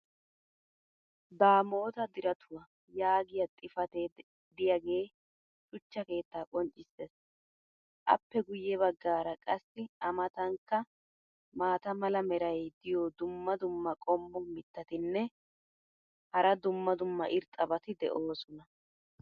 "Damota diratuwa" yaagiya xifatee diyaagee shuchcha keettaa qonccissees. appe guye bagaara qassi a matankka maata mala meray diyo dumma dumma qommo mitattinne hara dumma dumma irxxabati de'oosona.